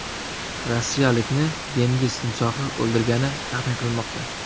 Rossiyalikni dengiz timsohi o‘ldirgani taxmin qilinmoqda.